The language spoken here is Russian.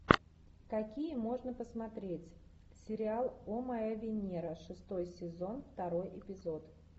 какие можно посмотреть сериал о моя венера шестой сезон второй эпизод